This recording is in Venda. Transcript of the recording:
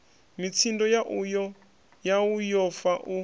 mitsindo yau yo fa u